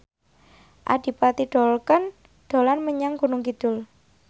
Adipati Dolken dolan menyang Gunung Kidul